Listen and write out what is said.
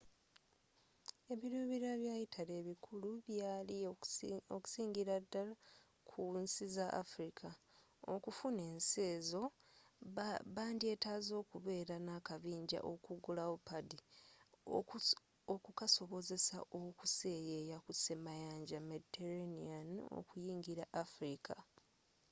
ebirubirirwa bya italy ebikulu byali okusingira dddal ku nsi za afirika okufuna ensi ezo bandyetaaze okubeera n'akabinjja okugulawo padi okukasobozesa okuseyeeya ku semayanja mediterranean okuyingira afirika